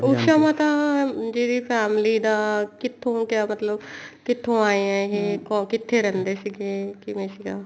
ਉਸ਼ਾ ਮਾਤਾ ਜੀ ਦੀ family ਦਾ ਕਿੱਥੋਂ ਕਿਆ ਮਤਲਬ ਕਿੱਥੋਂ ਆਏ ਆ ਇਹ ਕਿੱਥੇ ਰਹਿੰਦੇ ਸੀਗੇ ਕਿਵੇਂ ਸੀਗਾ